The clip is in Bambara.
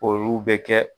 Olu bɛ kɛ